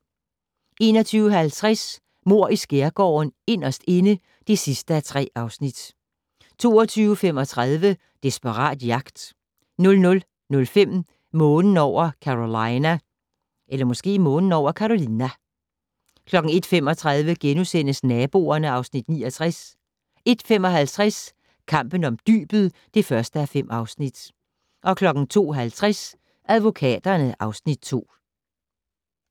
21:50: Mord i Skærgården: Inderst inde (3:3) 22:35: Desperat jagt 00:05: Månen over Carolina 01:35: Naboerne (Afs. 69)* 01:55: Kampen om dybet (1:5) 02:50: Advokaterne (Afs. 2)